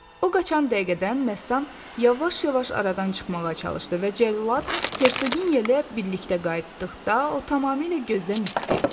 O qaçan dəqiqədən məstan yavaş-yavaş aradan çıxmağa çalışdı və cəllad Hersonya ilə birlikdə qayıtdıqda o tamamilə gözdən itdi.